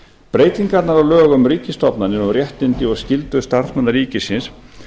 breytingar á lögum um ríkisstofnanir og um réttindi og skyldur starfsmanna ríkisins